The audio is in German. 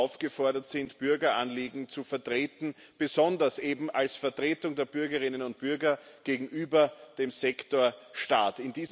aufgefordert sind, Bürgeranliegen zu vertreten, besonders eben als Vertretung der Bürgerinnen und Bürger gegenüber dem Sektor Staat.